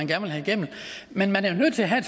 vil have igennem men man er nødt til at have